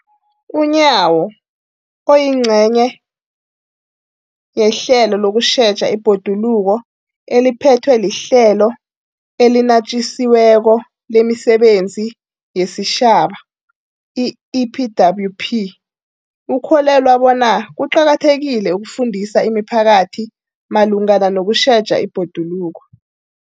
UNyawo, oyingcenye yehlelo lokutjheja ibhoduluko eliphethwe liHlelo eliNatjisi weko lemiSebenzi yesiTjhaba, i-EPWP, ukholelwa bona kuqakathekile ukufundisa imiphakathi malungana nokutjheja ibhoduluko.